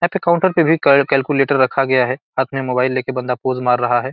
यहाँ काउन्टर पे भी कैल- कैलक्यूलेटर रखा गया है साथ में मोबाईल लेके बंदा पोज़ मार रहा है।